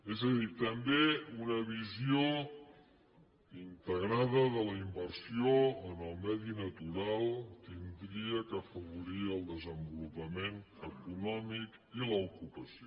és a dir també una visió integrada de la inversió en el medi natural hauria d’afavorir el desenvolupament econòmic i l’ocupació